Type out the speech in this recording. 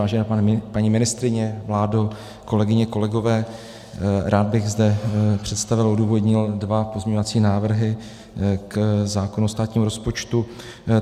Vážená paní ministryně, vládo, kolegyně, kolegové, rád bych zde představil a odůvodnil dva pozměňovací návrhy k zákonu o státním rozpočtu.